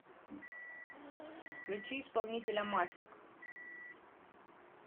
включи исполнителя мафик